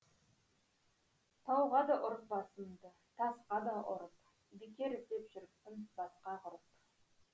тауға да ұрып басымды тасқа да ұрып бекер іздеп жүріппін басқа ғұрып